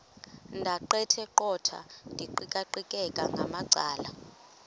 ndaqetheqotha ndiqikaqikeka ngamacala